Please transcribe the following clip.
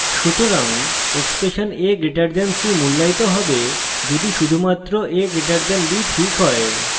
সুতরাং expression a> c মূল্যায়িত হবে যদি শুধুমাত্র a> b ঠিক হয়